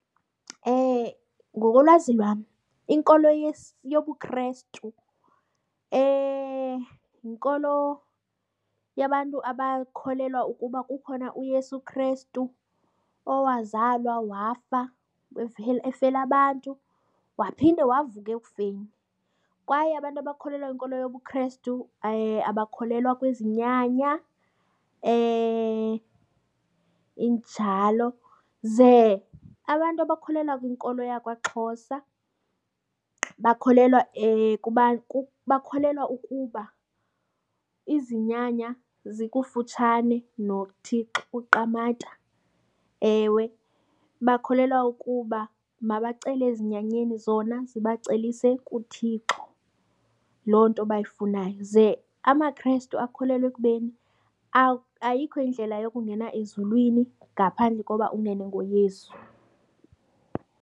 Ngokolwazi lwam inkolo yobuKrestu yinkolo yabantu abakholelwa ukuba kukhona uYesu Krestu owazalwa wafa efela abantu waphinde wavuka ekufeni. Kwaye abantu abakholelwa kwinkolo yobuKrestu abakholelwa kwizinyanya injalo. Ze abantu abakholelwa kwinkolo yakwaXhosa bakholelwa kubana bakholelwa ukuba izinyanya zikufutshane noThixo uQamata. Ewe bakholelwa ukuba mabacele ezinyanyeni zona zibacelise kuThixo loo nto bayifunayo. Ze amaKrestu akholelwe ekubeni ayikho indlela yokungena ezulwini ngaphandle koba ungene ngoYesu.